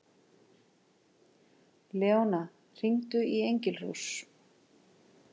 Leóna, hringdu í Engilrós.